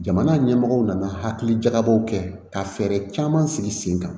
Jamana ɲɛmɔgɔw nana hakili jakabɔw kɛ ka fɛɛrɛ caman sigi sen kan